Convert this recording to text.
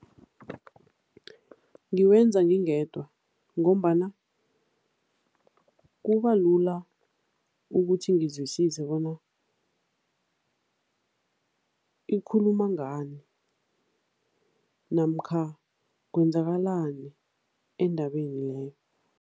Ngiwenza ngingedwa ngombana kubalula ukuthi ngizwisise bona ikhuluma ngani namkha kwenzakalani endabeni leyo.